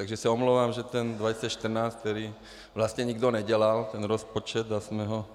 Takže se omlouvám, že ten 2014, který vlastně nikdo nedělal, ten rozpočet, tak jsme ho